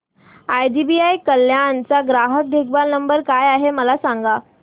IDBI Kalyan चा ग्राहक देखभाल नंबर काय आहे मला सांगा